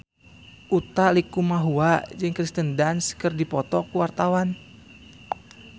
Utha Likumahua jeung Kirsten Dunst keur dipoto ku wartawan